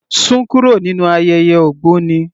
Sún kúrò nínú ayẹyẹ ògbóni.